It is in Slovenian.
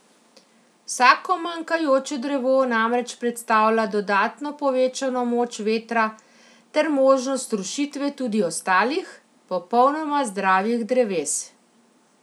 Vsako manjkajoče drevo namreč predstavlja dodatno povečano moč vetra ter možnost rušitve tudi ostalih, popolnoma zdravih dreves.